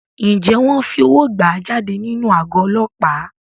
Ǹjẹ́ wọn fi owó gbà á jáde nínú àgọ́ Ọlọ́pàá?